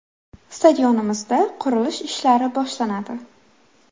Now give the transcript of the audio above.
Stadionimizda qurilish ishlari boshlanadi.